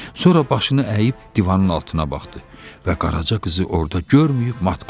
Sonra başını əyib divanın altına baxdı və Qaraca qızı orda görməyib mat qaldı.